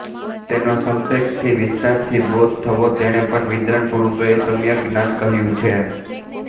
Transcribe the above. તેનો સંક્ષેપથી કે વિસ્તારથી બોધ થવો તેને પણ વિદ્વાન પુરુષોએ સમ્યગજ્ઞાન કહ્યું છે